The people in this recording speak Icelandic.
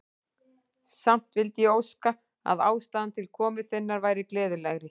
Samt vildi ég óska, að ástæðan til komu þinnar væri gleðilegri.